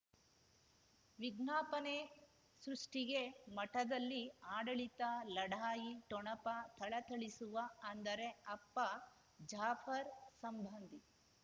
ವಿಜ್ಞಾಪನೆ ಸೃಷ್ಟಿಗೆ ಮಠದಲ್ಲಿ ಆಡಳಿತ ಲಢಾಯಿ ಠೊಣಪ ಥಳಥಳಿಸುವ ಅಂದರೆ ಅಪ್ಪ ಜಾಫರ್ ಸಂಬಂಧಿ